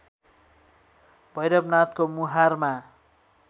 भैरवनाथको मुहारमा